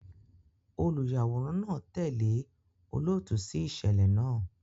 Oluyaworan naa tẹle olootu si iṣẹlẹ naa